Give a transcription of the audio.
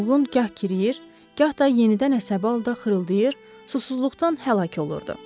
Mulğqn gah girəyir, gah da yenidən əsəbi halda xırıldayır, susuzluqdan həlak olurdu.